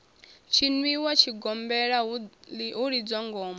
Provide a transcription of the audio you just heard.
tshiniwa tshigombela hu lidzwa ngoma